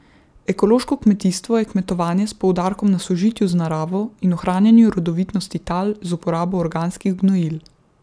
Ekološko kmetijstvo je kmetovanje s poudarkom na sožitju z naravo in ohranjanju rodovitnosti tal z uporabo organskih gnojil.